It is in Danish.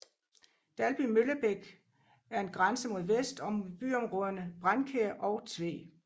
Dalby Møllebæk er grænse mod vest og mod byområderne Brændkjær og Tved